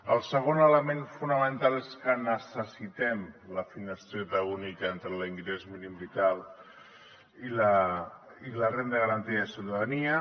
el segon element fonamental és que necessitem la finestreta única entre l’ingrés mínim vital i la renda garantida de ciutadania